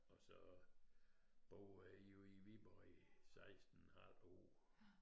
Og så boede jeg jo i Viborg i 16 et halvt år